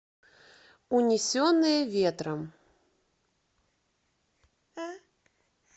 унесенные ветром